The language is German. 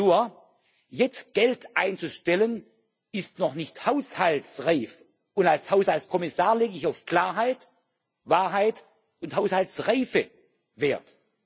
Nur Jetzt Geld einzustellen ist noch nicht haushaltsreif, und als Haushaltskommissar lege ich auf Klarheit, Wahrheit und Haushaltsreife Wert.